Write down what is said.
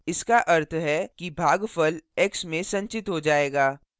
इसका अर्थ है कि भागफल x में संचित हो जाएगा